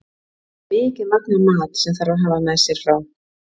Það er mikið magn af mat sem þarf að hafa með sér frá